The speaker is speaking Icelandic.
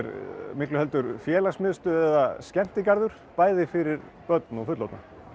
miklu heldur félagsmiðstöð eða skemmtigarður bæði fyrir börn og fullorðna